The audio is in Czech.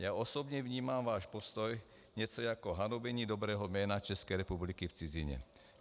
Já osobně vnímám váš postoj něco jako hanobení dobrého jména České republiky v cizině.